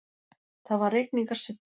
Það var rigningarsuddi.